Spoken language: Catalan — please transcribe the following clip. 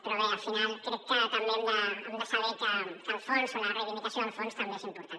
però bé al final crec que també hem de saber que el fons o la reivindicació del fons també és important